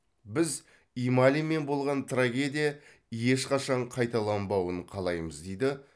біз ималимен болған трагедия ешқашан қайталанбауын қалаймыз дейді